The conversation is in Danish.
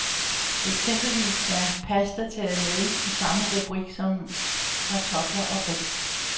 Eksempelvis er pasta taget med, i samme rubrik som kartofler og ris.